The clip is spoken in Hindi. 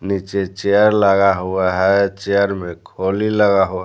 नीचे चेयर लगा हुआ है चेयर में खोली लगा हुआ--